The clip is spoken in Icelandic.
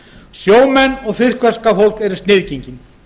sjómenn og fiskverkafólk eru sniðgengin